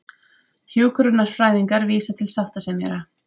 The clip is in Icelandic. Hjúkrunarfræðingar vísa til sáttasemjara